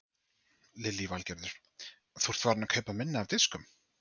Lillý Valgerður: Þú ert farinn að kaupa minna af diskum?